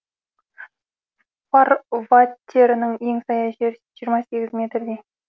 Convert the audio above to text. фарватерінің ең саяз жері жиырма сегіз метрдей